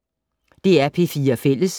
DR P4 Fælles